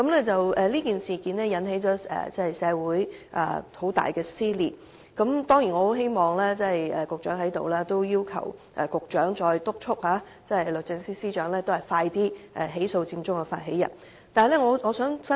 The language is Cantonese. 這事件已導致社會出現很大撕裂，趁局長在席，我當然很希望局長再次督促律政司司長盡快起訴佔中發起人。